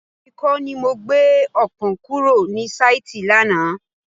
Rárá, èmi kọ́ ni mo gbé ọpọ́n kúrò ní sáìtì lánàá.